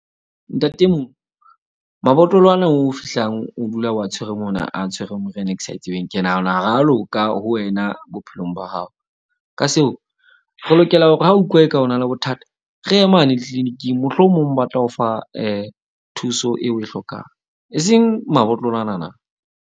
Ntate mabotlolo ana o fihlang o dula o a tshwere mona na, a tshwere meriana e ke sa e tsebeng. Ke nahana ho re a loka ho wena bophelong ba hao. Ka seo re lokela hore ha utlwa eka o na le bothata. Re ye mane tliliniking, mohlomong ba tla o fa thuso eo o e hlokang. E seng mabotlolo ana na.